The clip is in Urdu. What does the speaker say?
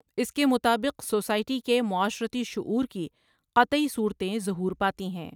اس کے مطابق سوسائٹی کے معا شرتی شعور کی قطعی صورتیں ظہور پاتی ہیں ۔